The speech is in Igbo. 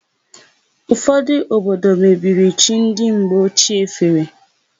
Ụfodụ obodo mebiri chi ndị mgbe ochie fere.